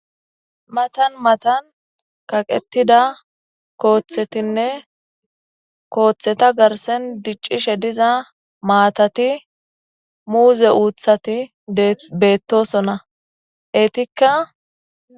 Matan matan kaqetida kooththetinne kooththeta garsen diccishe diza maatati muuze uuthati beettosona eetikka